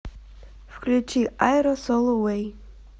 включи айро соло вэй